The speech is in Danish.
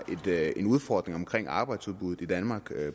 en udfordring omkring arbejdsudbuddet i danmark